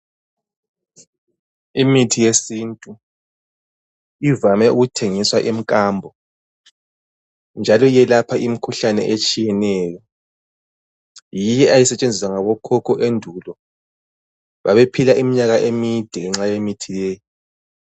Imithi yesintu ivame ukuthengiswa emkambo njalo iyelapha imikhuhlane etshiyeneyo yiyo eyayisetshenziswa ngabokhokho endulo babephila iminyaka emide ngenxa yemithi leyi.